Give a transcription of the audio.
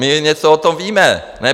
My něco o tom víme.